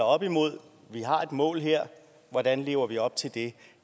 op imod vi har et mål her og hvordan lever vi op til det